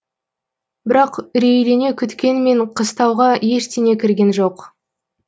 бірақ үрейлене күткенмен қыстауға ештеңе кірген жоқ